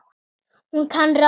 Hún kann ráð við því.